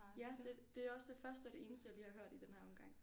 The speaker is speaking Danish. Ja det det er også det første og det eneste jeg lige har hørt i den her omgang